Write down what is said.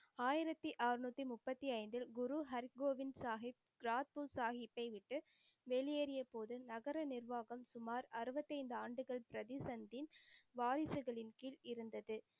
ஆயிரத்தி அறநூத்தி முப்பத்தி ஐந்தில் குரு ஹரிகோவிந்த் சாஹிப் ராஜ்புட் சாஹிப்பை விட்டு வெளியேறியபோது நகர நிர்வாகம் சுமார் அறுபத்தைந்து ஆண்டுகள் பிரதிசந்தின் வாரிசுகளின் கீழ் இருந்தது.